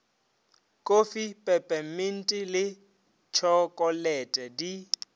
kofi pepeminti le tšhokolete di